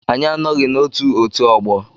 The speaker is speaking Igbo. Anyị anọghị na otù otú ọgbọ.